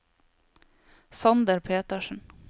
Sander Petersen